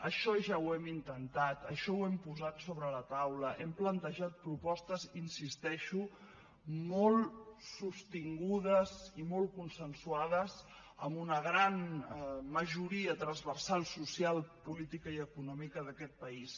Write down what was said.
això ja ho hem intentat això ho hem posat sobre la taula hem plantejat propostes hi insisteixo molt sostingudes i molt consensuades amb una gran majoria transversal social política i econòmica d’aquest país